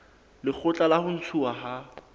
lekgotla la ho ntshuwa ha